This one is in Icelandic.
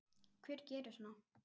Hver gerir svona?